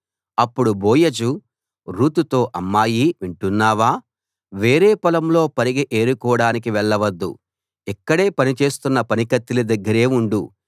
అప్పుడు బోయజు రూతుతో అమ్మాయీ వింటున్నావా వేరే పొలంలో పరిగె ఏరుకోడానికి వెళ్ళ వద్దు ఇక్కడే పనిచేస్తున్న పనికత్తెల దగ్గరే ఉండు